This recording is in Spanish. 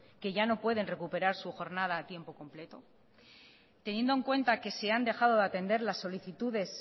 que ya no pueden recuperar su jornada a tiempo completo teniendo en cuenta que se han dejado de atender las solicitudes